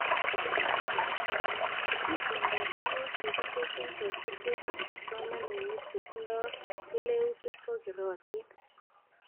Itondoab tuguk chekitesyi kosubke ak kipsomanink chetindoi keleutik kokeratin